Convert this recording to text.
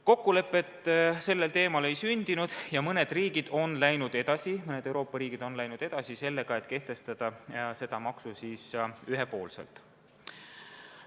Kokkulepet sellel teemal ei ole sündinud ja mõned Euroopa riigid on läinud edasi otsusega kehtestada see maks ühepoolselt.